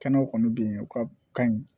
Kɛnɛw kɔni bɛ yen u ka kan